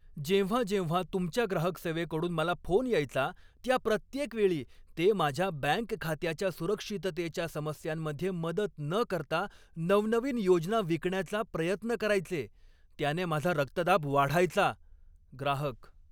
जेव्हा जेव्हा तुमच्या ग्राहक सेवेकडून मला फोन यायचा, त्या प्रत्येक वेळी ते माझ्या बँक खात्याच्या सुरक्षिततेच्या समस्यांमध्ये मदत न करता नवनवीन योजना विकण्याचा प्रयत्न करायचे, त्याने माझा रक्तदाब वाढायचा. ग्राहक